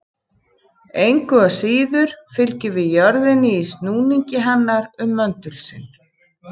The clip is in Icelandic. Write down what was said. Engu að síður fylgjum við jörðinni í snúningi hennar um möndul sinn.